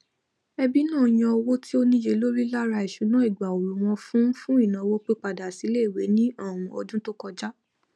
ẹbí náà yan owó tí ó níye lórí lára ìṣúná ìgbà ooru wọn fún fún ìnáwó pípadàsíiléìwé ní um ọdún tó kọjá